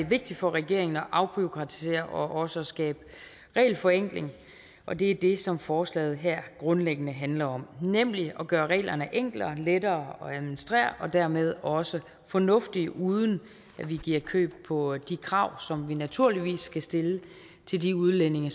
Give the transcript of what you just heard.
vigtigt for regeringen at afbureaukratisere og også at skabe regelforenkling og det er det som forslaget her grundlæggende handler om nemlig at gøre reglerne enklere og lettere at administrere og dermed også fornuftige uden at vi giver køb på de krav som vi naturligvis skal stille til de udlændinge